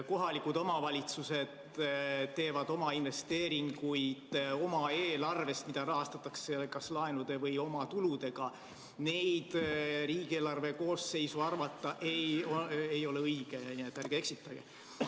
Kohalikud omavalitsused teevad investeeringuid oma eelarvest, mida rahastatakse kas laenude või omatuludega, neid ei ole õige riigieelarve koosseisu arvata, nii et ärge eksitage.